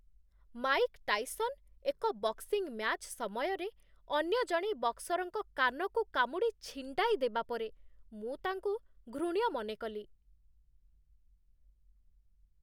Mike Tyson ଏକ boxing match ସମୟରେ ଅନ୍ୟ ଜଣେ ବକ୍ସର୍ଙ୍କ କାନକୁ କାମୁଡ଼ି ଛିଣ୍ଡାଇ ଦେବା ପରେ ମୁଁ ତାଙ୍କୁ ଘୃଣ୍ୟ ମନେ କଲି।